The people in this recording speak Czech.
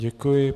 Děkuji.